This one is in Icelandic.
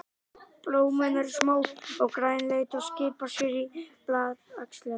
Blómin eru smá og grænleit og skipa sér í blaðaxlirnar.